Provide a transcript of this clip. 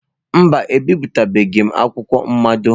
Mba, ebipụtabeghị m akwụkwọ mmado.